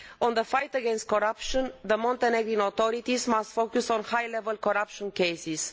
In the fight against corruption, the Montenegrin authorities must focus on high level corruption cases.